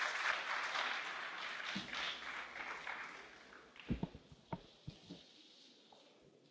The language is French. Monsieur le Président, vous êtes le bienvenu au Parlement européen.